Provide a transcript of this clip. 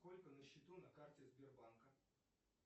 сколько на счету на карте сбербанка